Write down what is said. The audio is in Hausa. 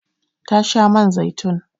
Ta sha man zaitun.